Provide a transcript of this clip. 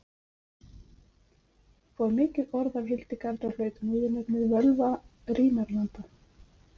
fór mikið orð af hildegard og hlaut hún viðurnefnið völva rínarlanda